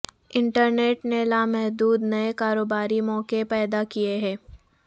internet نے لامحدود نئے کاروباری مواقع پیدا کیے ہیں